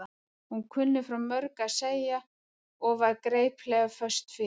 Hún kunni frá mörgu að segja og var geipilega föst fyrir.